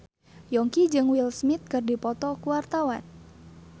Yongki jeung Will Smith keur dipoto ku wartawan